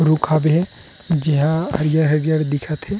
रुख हाबे हे जेहा हरियर-हरियर दिखत हे।